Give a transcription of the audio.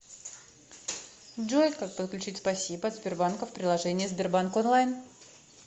джой как подключить спасибо от сбербанка в приложении сбербанк онлайн